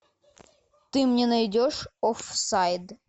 ты мне найдешь офсайд